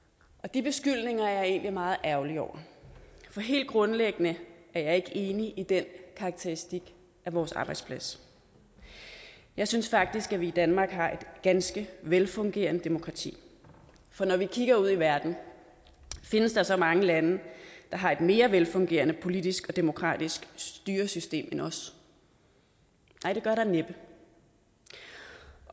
de beskyldninger er jeg egentlig meget ærgerlig over for helt grundlæggende er jeg ikke enig i den karakteristik af vores arbejdsplads jeg synes faktisk at vi i danmark har et ganske velfungerende demokrati for når vi kigger ud i verden findes der så mange lande der har et mere velfungerende politisk og demokratisk styresystem end os nej det gør der næppe